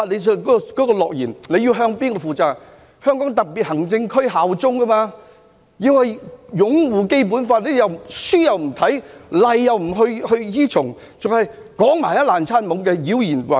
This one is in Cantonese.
是要向香港特別行政區效忠，必須擁護《基本法》，但他們書又不看，例又不依從，還要亂說話，妖言惑眾。